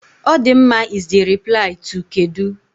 "Ọdịmma" is the reply to "kedụ?"